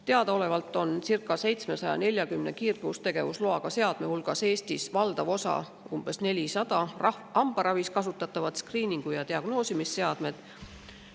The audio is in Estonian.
Teadaolevalt on circa 740 kiirgustegevusloaga seadme hulgas Eestis valdav osa, umbes 400, hambaravis kasutatavad skriiningu- ja diagnoosimisseadmed.